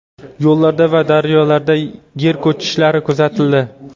Yo‘llarda va daryolarda yer ko‘chishlari kuzatildi.